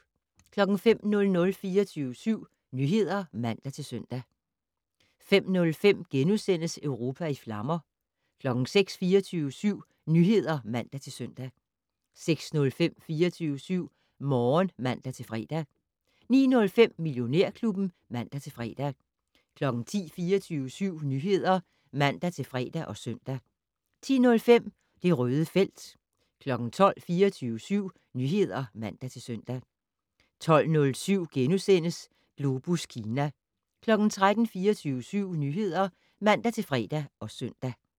05:00: 24syv Nyheder (man-søn) 05:05: Europa i flammer * 06:00: 24syv Nyheder (man-søn) 06:05: 24syv Morgen (man-fre) 09:05: Millionærklubben (man-fre) 10:00: 24syv Nyheder (man-fre og søn) 10:05: Det Røde felt 12:00: 24syv Nyheder (man-søn) 12:07: Globus Kina * 13:00: 24syv Nyheder (man-fre og søn)